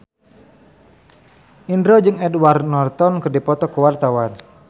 Indro jeung Edward Norton keur dipoto ku wartawan